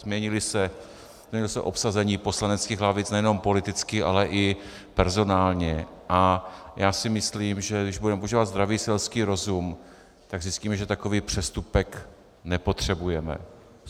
Změnilo se obsazení poslaneckých lavic nejenom politicky, ale i personálně a já si myslím, že když budeme používat zdravý selský rozum, tak zjistíme, že takový přestupek nepotřebujeme.